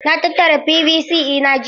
Na tattara PVC ɗina jiya.